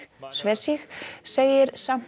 sig segir samt